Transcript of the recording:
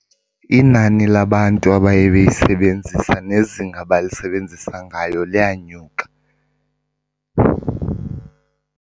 Inani labantu abaye beyisebenzisa nezinga abalisebenzisa ngayo liyanyuka.